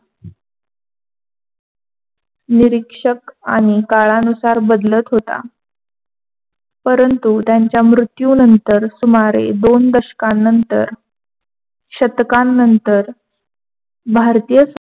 निरीक्षक आणि काळानुसार बदलत होता. परंतु त्यांच्या मृत्युनंतर सुमारे दोन दशकानंतर शतकानंतर भारतीय